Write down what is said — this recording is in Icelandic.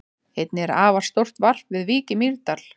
Einnig er afar stórt varp við Vík í Mýrdal.